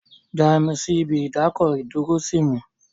Já mi sí ibi ìdákọ̀-dúró sí mi!